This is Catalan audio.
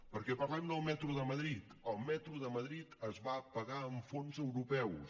perquè parlem del metro de madrid el metro de madrid es va pagar amb fons europeus